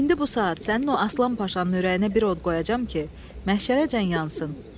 İndi bu saat sənin o Aslan Paşanın ürəyinə bir od qoyacam ki, məhşərəcən yansın.